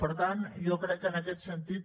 per tant jo crec que en aquest sentit